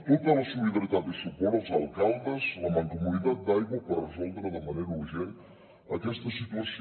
tota la solidaritat i suport als alcaldes la mancomunitat d’aigua per resoldre de manera urgent aquesta situació